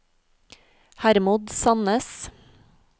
Hermod Sannes